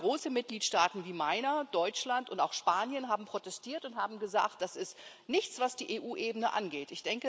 Also gerade große Mitgliedstaaten wie meiner Deutschland und auch Spanien haben protestiert und haben gesagt Das ist nichts, was die EU Ebene angeht.